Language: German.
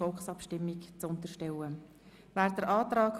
Abstimmung (Antrag SP-JUSO-PSA [Wyrsch, Jegenstorf];